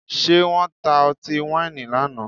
Ṣé wọ́n ta ọtí wáìnì lánàá?